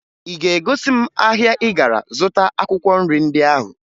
Ị ga-egosi m ahịa ị gara zụta akwụkwọ nri ndị ahụ?